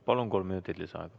Palun, kolm minutit lisaaega!